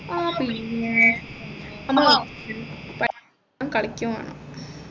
ആ പിന്നെ നമ്മൾ പഠിക്കും കളിക്കും വേണം